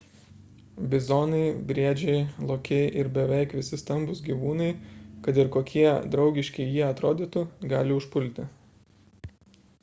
bizonai briedžiai lokiai ir beveik visi stambūs gyvūnai kad ir kokie draugiški jie atrodytų gali užpulti